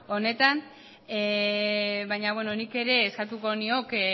honetan baina beno nik ere eskatuko nioke